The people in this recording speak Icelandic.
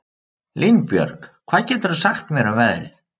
Línbjörg, hvað geturðu sagt mér um veðrið?